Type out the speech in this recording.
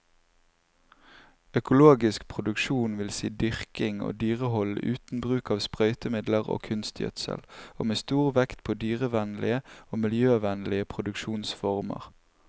Økologisk produksjon vil si dyrking og dyrehold uten bruk av sprøytemidler og kunstgjødsel, og med stor vekt på dyrevennlige og miljøvennlige produksjonsformer.